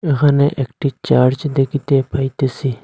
এখানে একটি চার্চ দেখিতে পাইতেসি।